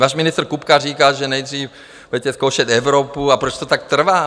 Váš ministr Kupka říká, že nejdřív budete zkoušet Evropu, ale proč to tak trvá?